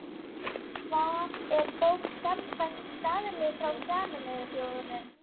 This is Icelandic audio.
Hvað er bók samkvæmt staðli frá Sameinuðu þjóðunum?